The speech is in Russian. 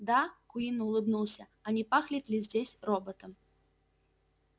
да куинн улыбнулся а не пахнет ли здесь роботом